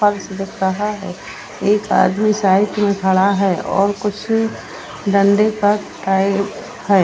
फर्श दिख रहा है एक आदमी साइड में खड़ा है और कुछ है।